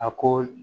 A ko